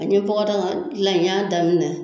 A ye bɔgɔdagadilan n y'a daminɛ